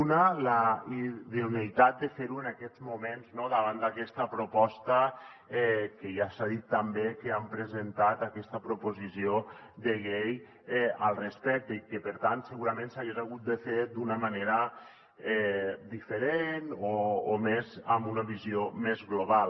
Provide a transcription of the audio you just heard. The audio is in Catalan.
una la idoneïtat de fer ho en aquests moments no davant d’aquesta proposta que ja s’ha dit també que han presentat aquesta proposició de llei al respecte i que per tant segurament s’hagués hagut de fer d’una manera diferent o amb una visió més global